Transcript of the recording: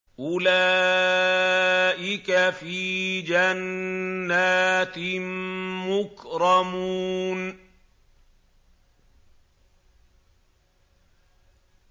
أُولَٰئِكَ فِي جَنَّاتٍ مُّكْرَمُونَ